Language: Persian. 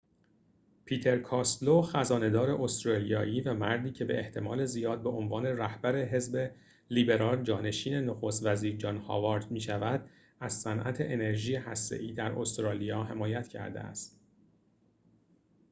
پیتر کاستلو خزانه دار استرالیایی و مردی که به احتمال زیاد به عنوان رهبر حزب لیبرال جانشین نخست وزیر جان هاوارد می‌شود از صنعت انرژی هسته ای در استرالیا حمایت کرده است